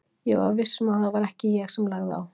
Ég var viss um að það var ekki ég sem lagði á.